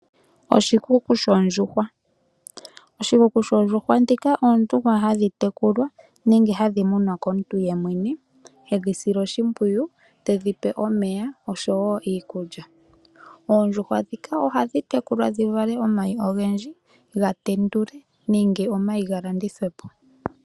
Oshikuku shoondjuhwa, dhika oondjuhwa hadhi tekulwa nenge hadhi munwa komuntu yemwene hedhi sile oshipwuyu tedhipe omeya oshowo iikulya. Oondjuhwa ohadhi tekulwa dhivale omayi ogendji gatendulwe nenge galandithwe po.